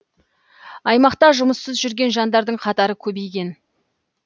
аймақта жұмыссыз жүрген жандардың қатары көбейген